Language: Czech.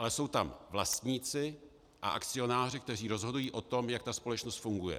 Ale jsou tam vlastníci a akcionáři, kteří rozhodují o tom, jak ta společnost funguje.